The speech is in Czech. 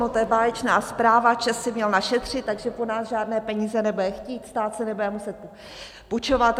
No to je báječná zpráva, ČEZ si měl našetřit, takže po nás žádné peníze nebude chtít, stát si nebude muset půjčovat.